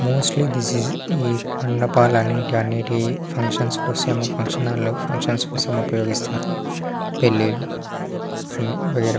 Mostly ఈ మండపల్లు అనేవి ఫంక్షన్ హాల్ లో ఫున్క్తిఒన్స కోసం ఉపయోగిస్తారు పెళ్లి లూ అని.